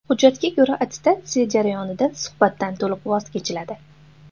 Hujjatga ko‘ra, attestatsiya jarayonida suhbatdan to‘liq voz kechiladi.